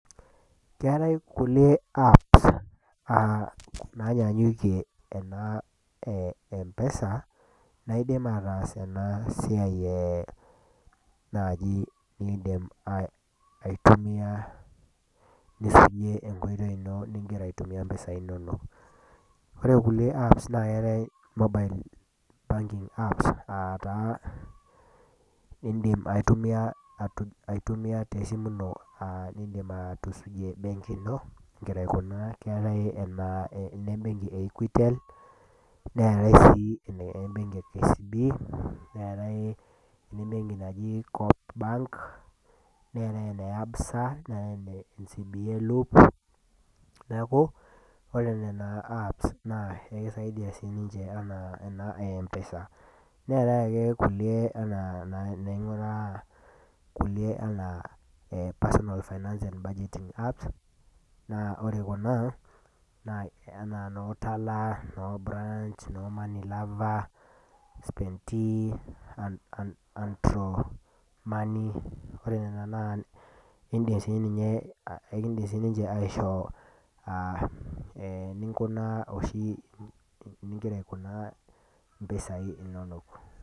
Keatai kulie apps nainyanyukie kuna e empesa naidim ataas ena siai naaji niindim aitumiya atusujie enkoitoi ino ningira aisefi impisai inono. Ore kulie apps neatai mobile banking apps aa taaa indim aitumia te esimu ino nindim atusujie embenki ino, eningira aikunaa, keatai enembenki e Equitel, neatai sii enembenki e KCB, neatai enembenki naji Coop bank, neatai ene Absa, neatai ene ECBA lob. Neaku ore nena apps naa ekisiadia siininche anaa ena e empesa, neatai ake kulie anaa duo taata kulie anaa personal finance and budgeting apps, naa ore kuna, anaa noo TALA, noo Branch, noo Money lover, Spendee Andro money, ore nena naa indim sii ninye aishoo enikunaa oshi eningira aikunaa impisai inono.